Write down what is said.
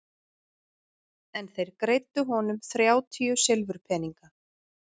En þeir greiddu honum þrjátíu silfurpeninga.